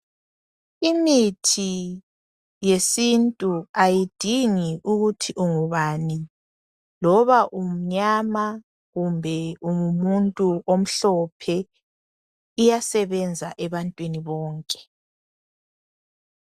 Imithi yesintu ayidingi ukuthi ungubani loba umnyama loma ungumuntu omhlophe uyasebenza ebantwini bonke .